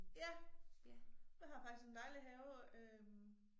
Ja jeg har faktisk en dejlig have øh